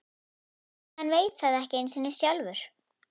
Hann veit það ekki einu sinni sjálfur.